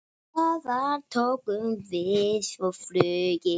Þaðan tókum við svo flugið.